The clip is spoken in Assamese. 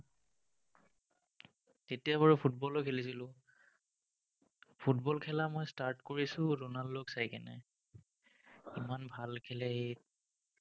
তেতিয়া বাৰু ফুটবলো খেলিছিলো। ফুটবল খেলা মই start কৰিছো ronaldo ক চাই ইমান ভাল খেলে, সি